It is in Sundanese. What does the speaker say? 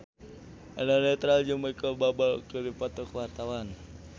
Eno Netral jeung Micheal Bubble keur dipoto ku wartawan